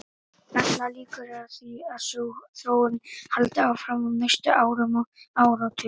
Allar líkur eru á því að sú þróun haldi áfram á næstu árum og áratugum.